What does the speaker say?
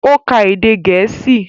Ó ka èdè Gẹ̀ẹ́sì